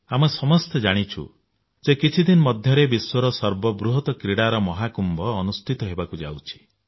ଆମେ ସମସ୍ତେ ଜାଣିଛୁ ଯେ କିଛି ଦିନ ମଧ୍ୟରେ ବିଶ୍ୱର ସର୍ବବୃହତ କ୍ରୀଡା ମହାକୁମ୍ଭ ଅନୁଷ୍ଠିତ ହେବାକୁ ଯାଉଛି